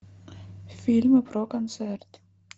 фильмы про концерт